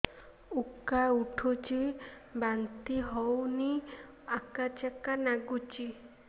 ଉକା ଉଠୁଚି ବାନ୍ତି ହଉନି ଆକାଚାକା ନାଗୁଚି